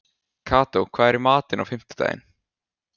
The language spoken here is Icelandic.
Kató, hvað er í matinn á fimmtudaginn?